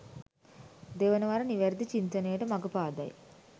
දෙවනවර නිවැරදි චින්තනයට මඟ පාදයි